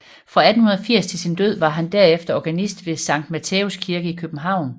Fra 1880 til sin død var han derefter organist ved Sankt Matthæus Kirke i København